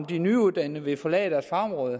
de nyuddannede vil forlade deres område